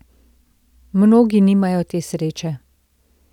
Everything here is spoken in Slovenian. Mnogi nimajo te sreče.